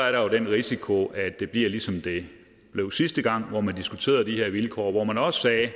er jo den risiko at det bliver ligesom det blev sidste gang hvor man diskuterede de her vilkår hvor man også sagde at